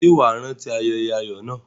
Ṣé wà á rántí ayẹyẹ ayọ̀ náà?